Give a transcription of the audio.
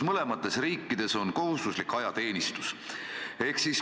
Mõlemas riigis on kohustuslik ajateenistus.